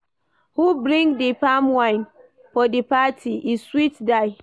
Who bring di palmwine for di party, e sweet die.